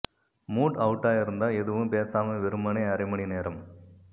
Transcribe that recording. mood அவுட்டா இருந்தா எதுவும் பேசாம வெறுமனே அரை மணி நேரம்